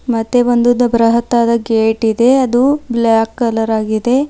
ಮತ್ತೆ ಒಂದು ಬೃಹತ್ತಾದ ಗೇಟ್ ಇದೆ ಅದು ಬ್ಲಾಕ್ ಕಲರ್ ಆಗಿದೆ.